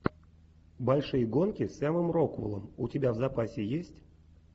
большие гонки с сэмом рокуэллом у тебя в запасе есть